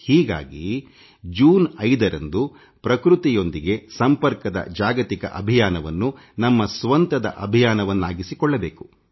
ಹಾಗಾಗಿ ಜೂನ್ 5 ರಂದು ಪ್ರಕೃತಿಯೊಂದಿಗೆ ಸಂಪರ್ಕದ ಜಾಗತಿಕ ಅಭಿಯಾನವನ್ನು ನಮ್ಮ ಸ್ವಂತ ಅಭಿಯಾನವನ್ನಾಗಿ ಮಾಡಬೇಕು